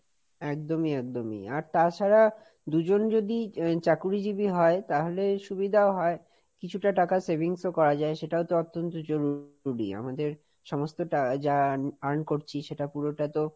একদমই, একদমই, আর তাছাড়া দুজন যদি চাকুরীজীবী হয় তাহলে সুবিধাও হয়, কিছুটা টাকা savings ও করা যায় সেটাও তো অত্যন্ত জরুরি আমাদের সমস্ত টা যা earn করছি সেটা পুরোটা তো,